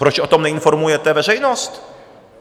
Proč o tom neinformujete veřejnost?